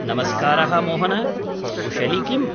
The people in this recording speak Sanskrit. नमस्कारः मोहन, कुशली किम्?